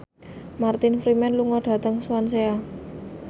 Martin Freeman lunga dhateng Swansea